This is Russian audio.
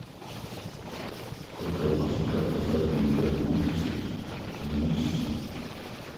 сколько я потратил на парикмахерские за месяц